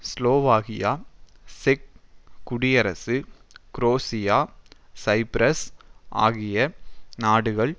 Slovakia செக் குடியரசு Croatia Cyprus ஆகிய நாடுகள்